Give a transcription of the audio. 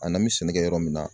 A n'an bɛ sɛnɛ kɛ yɔrɔ min na.